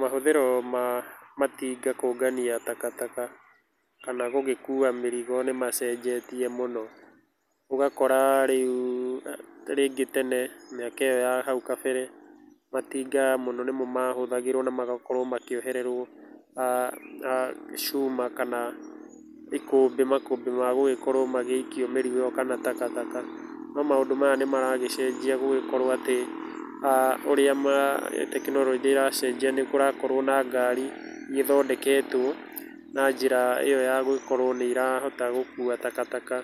Mahũthĩro na matinga kũngania takataka kana gũgĩkũa mĩrigo nĩmacenjetie mũno, ũgakora rĩũ rĩngĩ tene mĩaka ĩyo ya haũ kabere matinga mũno nĩmo mahũthagĩrwo magakorwo makĩohererwo aah aah cũma kana ikũmbĩ makũmbĩ magũgĩkorwo magĩikio mĩrigo ĩyo kana takataka no maũndũ maya nĩ maragĩcenjia gũgĩkorwo atĩ aah ũrĩa ma tekĩnoronjĩ ĩra cenjĩa nĩkũrakorwo na ngari irĩa ĩthondeketwo na njĩra ĩyo ya gũgĩkorwo nĩ ĩrahota gũkũa takataka,